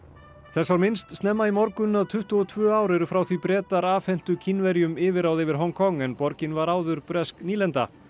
þess var minnst snemma í morgun að tuttugu og tvö ár eru frá því Bretar afhentu Kínverjum yfirráð yfir Hong Kong en borgin var áður bresk nýlenda